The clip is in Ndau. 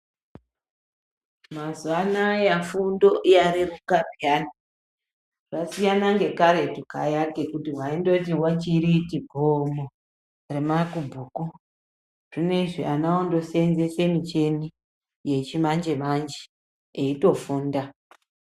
Mazuwa anaa fundo yareruka payani zvasiyana ngekaretu kaya ngekuti waindoti wechiriti gomo remabhuku zvinezvi ana ondosenzese michini yechimanje manje eitofunda.